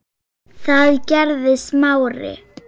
Það gerði Smári.